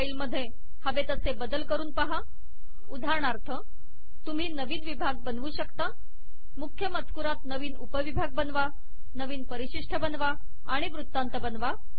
मूळ फाइल मधे हवे तसे बदल करून पहा उदाहरणार्थ तुम्ही नवीन विभाग बनवू शकता मुख्य मजकुरात नवीन उपविभाग बनवा नवीन परिशिष्ट बनवा आणि वृत्तांत बनवा